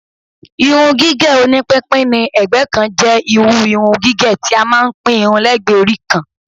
Irun gígẹ̀ oní pínpín ni ẹ̀gbẹ́ kan jẹ́ irú irun gigẹ̀ tí a máa ń pín irun lẹ́gbẹ̀ẹ́ orí kan